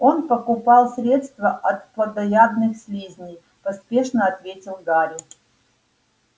он покупал средство от плотоядных слизней поспешно ответил гарри